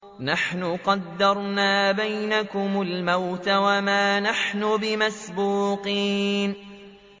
نَحْنُ قَدَّرْنَا بَيْنَكُمُ الْمَوْتَ وَمَا نَحْنُ بِمَسْبُوقِينَ